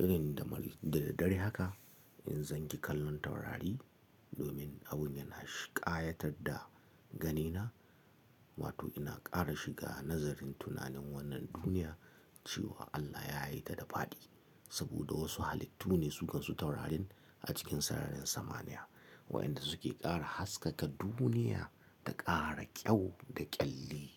irin da daddare haka in zan gi kallon taurari, domin abun yana shi kayatar da ganina, wato ina kara shiga nazarin tunanin wannan duniya, cewa Allah ya yita da fadi saboda wasu halittu ne su kansu taurarin a cikin sararin samaniya wa'inda suke kara haskaka duniya da kara kyau da kyalli.